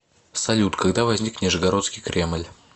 салют когда возник нижегородский кремль